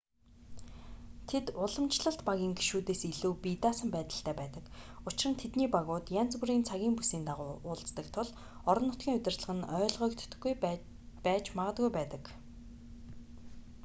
тэд уламжлалт багийн гишүүдээс илүү бие даасан байдалтай байдаг учир нь тэдний багууд янз бүрийн цагийн бүсийн дагуу уулздаг тул орон нутгийн удирдлага нь ойлгодоггүй байж магадгүй байдаг